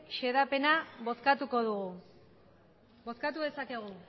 xedapena bozkatuko dugu bozkatu dezakegu